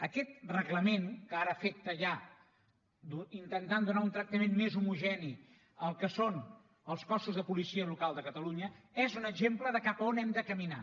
aquest reglament que ara té efectes ja i intenta donar un tractament més homogeni al que són els cossos de policia local de catalunya és un exemple de cap on hem de caminar